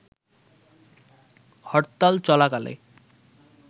হরতাল চলাকালে